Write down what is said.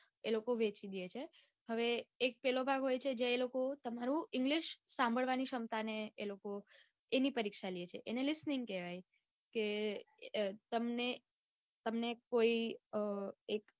એ લોકો વેચી દે છે. હવે એક પેલો ભાગ હોય છે જ્યાં એ લોકો તમારું english સાંભળવાની ક્ષમતા ને એ લોકો ઈની પરીક્ષા લે છે. એને listening કેવાય કે તમને તમને કોઈ અઅ એક